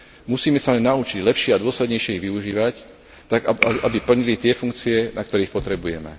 Musíme sa len naučiť lepšie a dôslednejšie ich využívať tak, aby plnili tie funkcie, na ktoré ich potrebujeme.